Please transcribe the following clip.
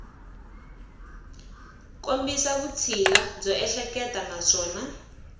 kombisa vutshila byo ehleketa naswona